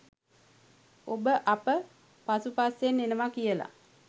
ඔබ අප පසු පස්සෙන් එනවා කියල.